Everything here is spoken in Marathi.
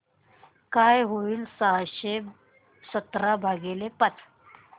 काय होईल सहाशे सतरा भागीले पाच